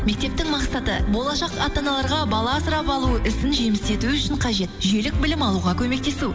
мектептің мақсаты болашақ ата аналарға бала асырап алу ісін жемісті ету үшін қажет жүйелік білім алуға көмектесу